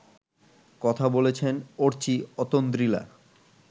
কথা বলেছেন অর্চি অতন্দ্রিলা